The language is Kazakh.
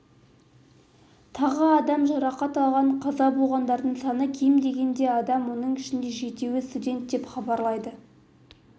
тағы адам жарақат алған қаза болғандардың саны кем дегенде адам оның ішінде жетеуі студент деп хабарлайды